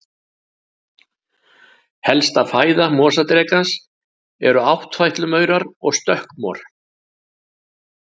Helsta fæða mosadrekans eru áttfætlumaurar og stökkmor.